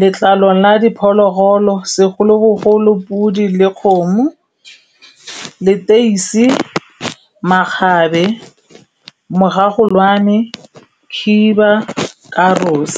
Letlalo la diphologolo, segolobogolo podi le kgomo, leteisi, makgabe mogagolwane, khiba, karos.